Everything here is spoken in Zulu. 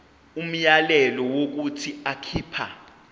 umyalelo wokuthi akhipha